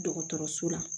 Dɔgɔtɔrɔso la